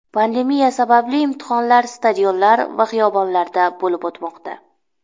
Pandemiya sababli imtihonlar stadionlar va xiyobonlarda bo‘lib o‘tmoqda.